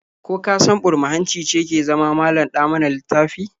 Ko ka san burma-hanci ce ke zama malam-ɗa-mana-littafi?